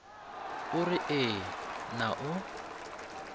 o re ee na o